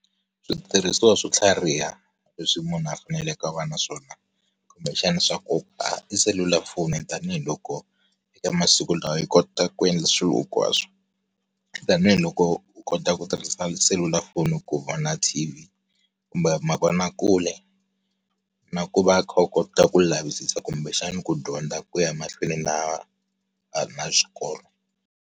Switirhisiwa swo tlhariha, leswi munhu a faneleke a va na swona, kumbexana swa nkoka i selulafoni tanihiloko, emasiku lawa yi kota ku endla swilo hinkwaswo. Tanihi loko u kota ku tirhisa selulafoni ku vona TV kumbe, mavonakule, na ku va u kha u kota ku lavisisa kumbexana ku dyondza ku ya mahlweni na na xikolo.